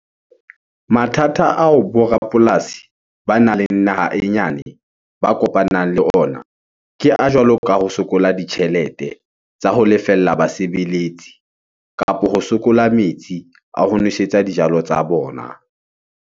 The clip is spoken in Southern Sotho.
Mathata ao bo rapolasi banang le naha e nyane ba kopanang le ona, ke a jwalo ka ho sokola ditjhelete tsa ho lefella basebeletsi kapo ho sokola metsi a ho nwesetsa dijalo tsa bona.